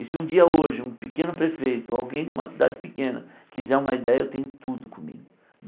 E se um dia hoje um pequeno prefeito, alguém de uma cidade pequena quiser uma ideia, eu tenho tudo comigo.